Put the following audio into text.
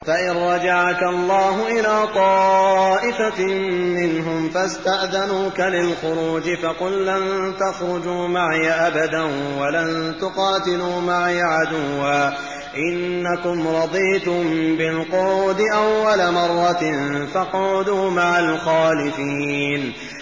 فَإِن رَّجَعَكَ اللَّهُ إِلَىٰ طَائِفَةٍ مِّنْهُمْ فَاسْتَأْذَنُوكَ لِلْخُرُوجِ فَقُل لَّن تَخْرُجُوا مَعِيَ أَبَدًا وَلَن تُقَاتِلُوا مَعِيَ عَدُوًّا ۖ إِنَّكُمْ رَضِيتُم بِالْقُعُودِ أَوَّلَ مَرَّةٍ فَاقْعُدُوا مَعَ الْخَالِفِينَ